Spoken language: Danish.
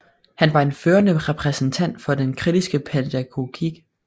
Han var en førende repræsentant for den kritiske pædagogik